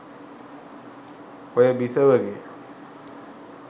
ඔය බිසවගේ